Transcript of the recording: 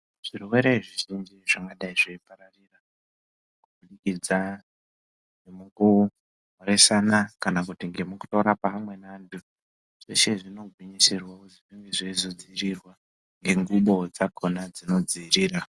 Zvirwere zvizhinji zvingadayi zveipararira, kubudikidza nemukumhorosana kana kuti ngemukutaura kweamweni antu, zveshe zvinogwinyisirwa kuti zvinge zveizodziirirwa nengubo dzakona dzinodziirira